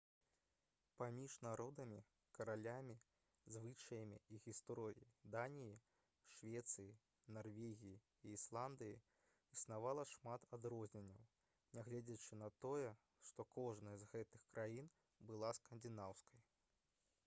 паміж народамі каралямі звычаямі і гісторыяй даніі швецыі нарвегіі і ісландыі існавала шмат адрозненняў нягледзячы на тое што кожная з гэтых краін была «скандынаўскай»